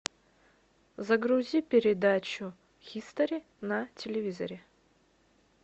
загрузи передачу хистори на телевизоре